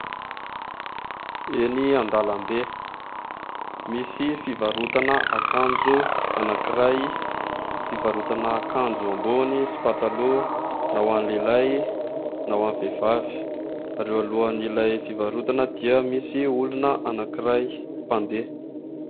Eny an-dalambe misy fivarotana akanjo anankiray, fivarotana akanjo ambony sy pataloha ho an'ny lehilahy na ho an'ny vehivavy ary eo alohan'ilay fivarotana dia misy olona anankiray mpandeha.